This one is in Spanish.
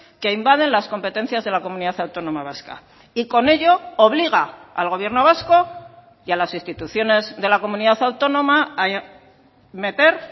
que invaden las competencias de la comunidad autónoma vasca y con ello obliga al gobierno vasco y a las instituciones de la comunidad autónoma a meter